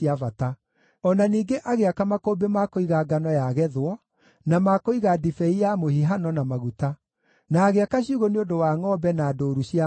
O na ningĩ agĩaka makũmbĩ ma kũiga ngano yagethwo, na ma kũiga ndibei ya mũhihano, na maguta; na agĩaka ciugũ nĩ ũndũ wa ngʼombe na ndũũru cia ngʼondu.